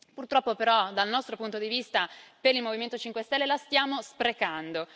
Purtroppo, però, dal nostro punto di vista, per il Movimento 5 Stelle, la stiamo sprecando.